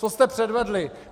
Co jste předvedli?